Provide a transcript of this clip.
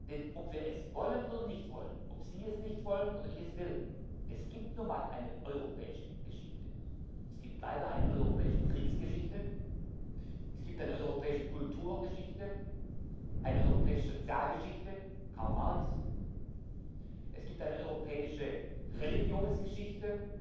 Denn, ob wir es wollen oder nicht wollen, ob Sie es nicht wollen oder ich es will Es gibt nun mal eine europäische Geschichte, es gibt leider eine europäische Kriegsgeschichte, es gibt eine europäische Kulturgeschichte, eine europäische Sozialgeschichte Karl Marx es gibt eine europäische Religionsgeschichte